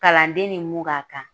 Kalanden ni mun k'a kan